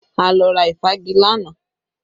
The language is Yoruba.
A lọ ra ìfági lánàá